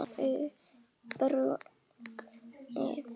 Elsku Bragi bróðir minn.